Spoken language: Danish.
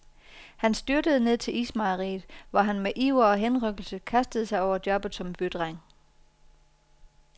Han styrtede ned til ismejeriet, hvor han med iver og henrykkelse kastede sig over jobbet som bydreng.